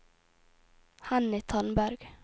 Henny Tandberg